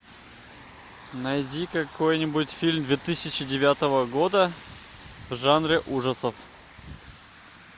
найди какой нибудь фильм две тысячи девятого года в жанре ужасов